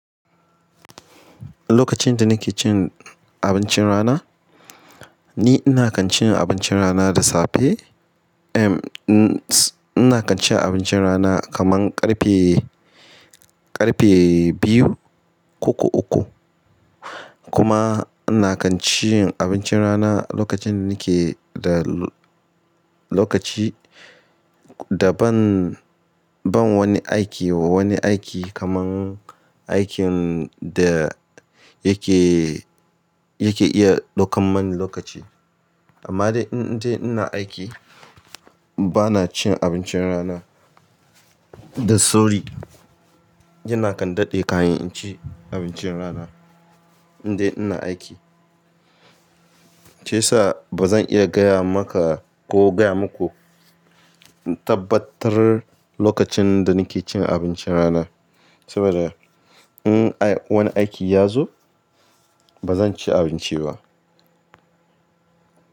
Lokacin da nake cin abincin rana, ni ina kan cin abincin rana da safe. Ehm, ina kan cin abincin rana kaman ƙarfe, ƙarfe biyu koko uku. Kuma ina kan cin abincin rana lokacin da nake da lokaci da ban, ban wani aiki, wani aiki kaman aikin da yake, yake iya ɗaukan mani lokaci. Amma dai in dai ina aiki, ba na cin abincin rana. Da sorry, ina kan daɗe kahin inci abincin rana in dai ina aiki. Shiyasa ba zan iya gaya maka ko gaya muku tabbatar lokacin da nake cin abincin rana. Saboda in wani aiki ya zo, ba zan ci abinci ba.